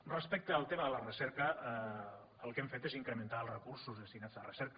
respecte al tema de la recerca el que hem fet és incrementar els recursos destinats a recerca